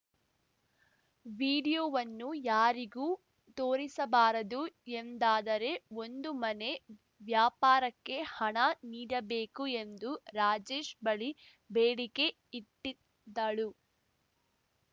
ವಿಡಿಯೋವನ್ನು ಯಾರಿಗೂ ತೋರಿಸಬಾರದು ಎಂದಾದರೆ ಒಂದು ಮನೆ ವ್ಯಾಪಾರಕ್ಕೆ ಹಣ ನೀಡಬೇಕು ಎಂದು ರಾಜೇಶ್‌ ಬಳಿ ಬೇಡಿಕೆ ಇಟ್ಟಿದ್ದಳು